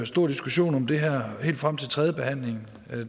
stor diskussion om det her helt frem til tredje behandling